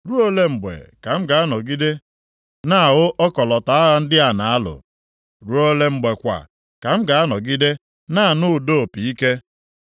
Ruo ole mgbe ka m ga-anọgide na-ahụ ọkọlọtọ agha ndị a a na-alụ? Ruo ole mgbe kwa ka m ga-anọgide na-anụ ụda opi ike?